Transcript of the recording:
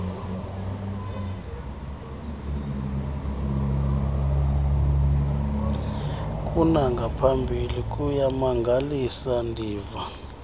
kunangaphambili kuyamangalisa ndiva